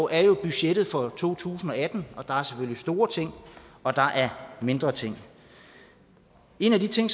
er jo budgettet for to tusind og atten og der er selvfølgelig store ting og der er mindre ting en af de ting